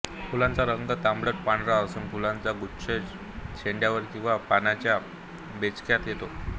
फुलांचा रंग तांबडटपांढरा असून फुलांचा गुच्छ शेंड्यावर किंवा पानांच्या बेचक्यात येतो